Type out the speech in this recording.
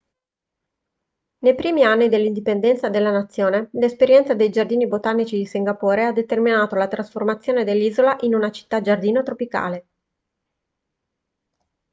nei primi anni dell'indipendenza della nazione l'esperienza dei giardini botanici di singapore ha determinato la trasformazione dell'isola in una città-giardino tropicale